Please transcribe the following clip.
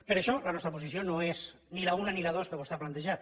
per això la nostra posició no és ni l’una ni la dos que vostè ha plantejat